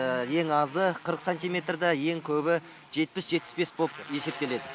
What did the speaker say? ең азы қырық сантиметр де ең көбі жетпіс жетпіс бес болып есептеледі